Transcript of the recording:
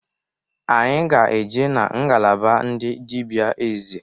Anyị ga-eje na ngalaba ndị dịbịa eze.